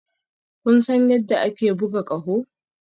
Kun san yadda ake buga ƙaho?